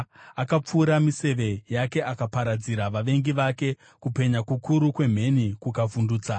Akapfura miseve yake akaparadzira vavengi vake, kupenya kukuru kwemheni kukavavhundutsa.